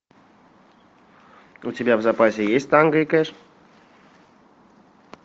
у тебя в запасе есть танго и кэш